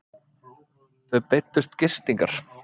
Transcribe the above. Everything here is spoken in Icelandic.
Þau beiddust gistingar.